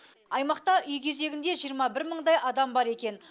аймақта үй кезегінде жиырма бір мыңдай адам бар екен